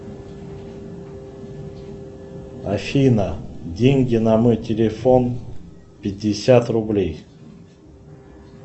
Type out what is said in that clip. афина деньги на мой телефон пятьдесят рублей